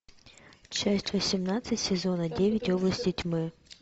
часть восемнадцать сезона девять области тьмы